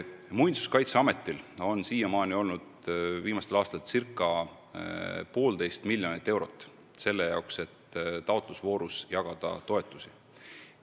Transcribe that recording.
Muinsuskaitseametil on viimastel aastatel olnud ca 1,5 miljonit eurot selle jaoks, et taotlusvoorus toetusi jagada.